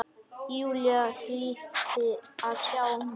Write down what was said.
Júlía hlyti að sjá það.